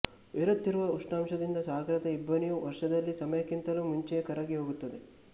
ಏರುತ್ತಿರುವ ಉಷ್ಣಾಂಶದಿಂದ ಸಾಗರದ ಇಬ್ಬನಿಯು ವರ್ಷದಲ್ಲಿ ಸಮಯಕ್ಕಿಂತಲೂ ಮುಂಚೆಯೇ ಕರಗಿಹೋಗುತ್ತದೆ